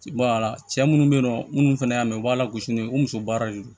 cɛ munnu bɛ yen nɔ minnu fana y'a mɛn u b'a la gosi ni o muso baara de do